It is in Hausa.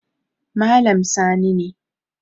Malam Sani ne